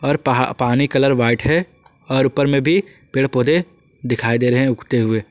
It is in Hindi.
पानी कलर व्हाइट है और ऊपर में भी पेड़ पौधे दिखाई दे रहे हैं उगते हुए।